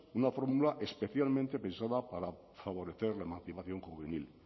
una fórmula especialmente pensada para favorecer la emancipación juvenil